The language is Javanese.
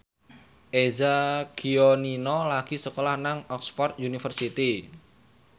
Eza Gionino lagi sekolah nang Oxford university